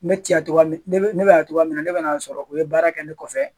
Ne te yan togoya min, ne bɛ yan togoya mina, ne bɛna'a sɔrɔ u ye baara kɛ ne kɔfɛ.